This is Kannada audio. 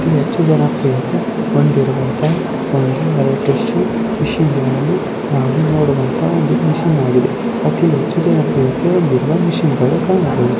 ಹೆಚ್ಚು ಜನರು ಬಂದಿರುವಂತ ಒಂದು ಎಲೆಕ್ಟ್ರಿಕಲ್ ಮೆಷಿನ್ ನಾವು ನೋಡುವಂತ ಒಂದು ಮೆಷಿನ್ ಆಗಿದೆ ಅತಿ ಹೆಚ್ಚು ಮೆಷಿನ್ ಗಳು ಕಾಣುತ್ತವೆ .